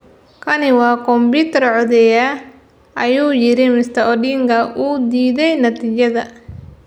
"Kani waa kombuyuutar codeeya," ayuu yiri Mr Odinga oo diiday natiijada.